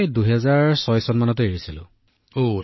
মই ২০০৬ চনৰ পৰা বেনাৰস এৰিছো ছাৰ